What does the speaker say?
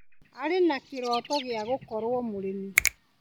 Arĩ na kĩroto gia gũkorwo mũrĩmi.